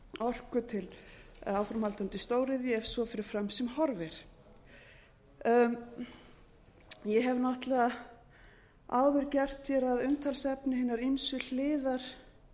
orku til eða áframhaldandi stóriðju ef svo fer fram sem horfir ég hef náttúrlega áður gert hér að umtalsefni hinar ýmsu hliðar